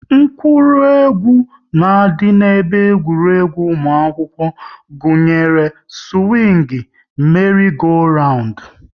Akụrụngwa na-adị n'ebe egwuregwu ụmụ akwụkwọ gụnyere; siwing, meri-go-randu